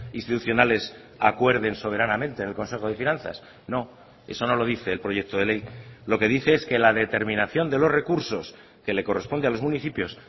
institucionales acuerden soberanamente en el consejo de finanzas no eso no lo dice el proyecto de ley lo que dice es que la determinación de los recursos que le corresponde a los municipios